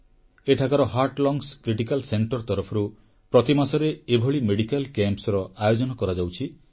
ଏଠାକାର heart lungs critical ସେଣ୍ଟରେ ତରଫରୁ ପ୍ରତି ମାସରେ ଏଭଳି ମେଡିକାଲ କ୍ୟାମ୍ପ୍ସର ଆୟୋଜନ କରାଯାଉଛି